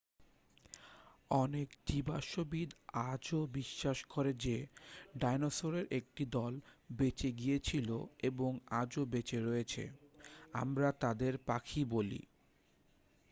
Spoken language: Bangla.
অনেক জীবাশ্মবিদ আজও বিশ্বাস করেন যে ডায়নোসরের একটি দল বেঁচে গিয়েছিলো এবং আজও বেঁচে রয়েছে আমরা তাদের পাখি বলি